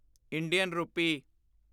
Indian ਰੂਪੀ